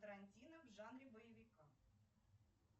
тарантино в жанре боевика